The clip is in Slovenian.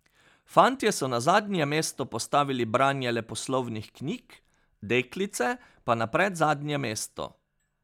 Fantje so na zadnje mesto postavili branje leposlovnih knjig, deklice pa na predzadnje mesto.